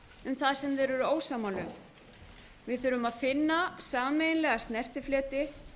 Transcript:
um það sem þeir eru ósammála um við þurfum að finna sameiginlega snertifleti